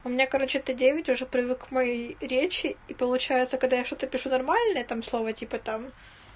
у меня короче т девять уже привык к моей речи и получается когда я что-то пишу нормально там слова типа там